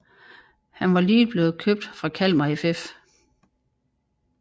Han var lige blevet købt fra Kalmar FF